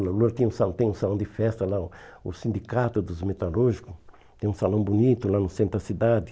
Lula tinha um sa tem um salão de festa lá, o Sindicato dos Metalúrgicos, tem um salão bonito lá no centro da cidade.